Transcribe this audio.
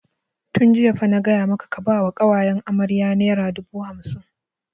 Tun jiya fa na gaya maka ka ba wa ƙawayen amarya naira dubu hamsin!